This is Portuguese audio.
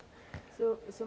O Sr.